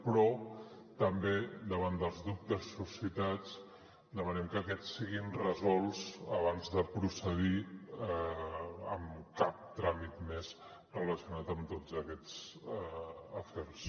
però també davant dels dubtes suscitats demanem que aquests siguin resolts abans de procedir amb cap tràmit més relacionat amb tots aquests afers